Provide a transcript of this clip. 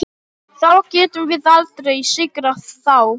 Þá getum við aldrei sigrað þá.